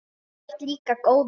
Þú ert líka góður.